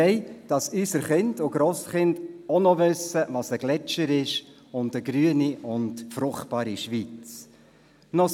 Wir wollen, dass unsere Kinder und Grosskinder auch noch wissen, was ein Gletscher ist, und was eine grüne und fruchtbare Schweiz ist.